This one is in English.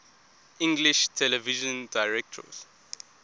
english television directors